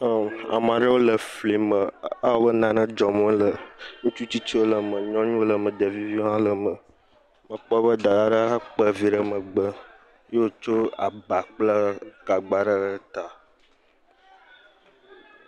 Ɛm. ame aɖewo le flime. Ewɔ abe nane dzɔm wole. Ŋutsu tsitsiwo le eme, nyɔnuwo le me, ɖeviviwo hã le me. Mekpɔ be Daa ɖe kpa vi ɖe megbe ye wòtsɔ aba kple gagba aɖe ɖe ta